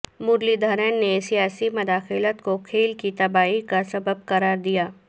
مرلی دھرن نے سیاسی مداخلت کو کھیل کی تباہی کا سبب قرار دیا